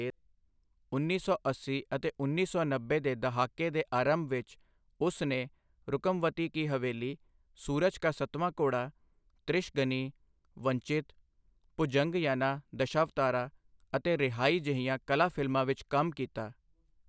ਉੱਨੀ ਸੌ ਅੱਸੀ ਅਤੇ ਉੱਨੀ ਸੌ ਨੱਬੇ ਦੇ ਦਹਾਕੇ ਦੇ ਅਰੰਭ ਵਿੱਚ ਉਸ ਨੇ ਰੁਕਮਵਤੀ ਕੀ ਹਵੇਲੀ, ਸੂਰਜ ਕਾ ਸੱਤਵਾਂ ਘੋੜਾ, ਤ੍ਰਿਸ਼ਗਨੀ, ਵੰਚਿਤ, ਭੁਜੰਗਯਾਨਾ ਦਸ਼ਾਵਤਾਰਾ ਅਤੇ ਰਿਹਾਈ ਜਿਹੀਆਂ ਕਲਾ ਫ਼ਿਲਮਾਂ ਵਿੱਚ ਕੰਮ ਕੀਤਾ।